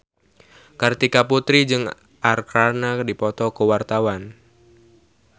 Kartika Putri jeung Arkarna keur dipoto ku wartawan